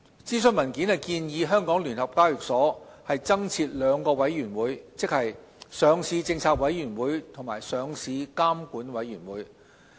諮詢文件建議香港聯合交易所有限公司增設兩個委員會，即"上市政策委員會"及"上市監管委員會"。